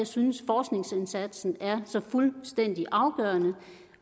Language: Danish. synes forskningsindsatsen er så fuldstændig afgørende